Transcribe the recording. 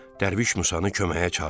Dərviş Musanı köməyə çağırdı.